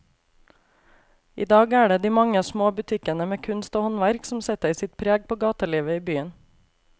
I dag er det de mange små butikkene med kunst og håndverk som setter sitt preg på gatelivet i byen.